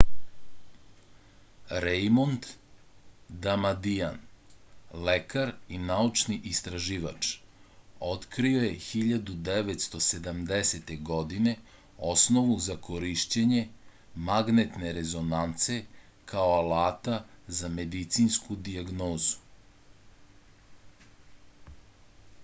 rejmond damadian lekar i naučni istraživač otkrio je 1970. godine osnovu za korišćenje magnetne rezonance kao alata za medicinsku dijagnozu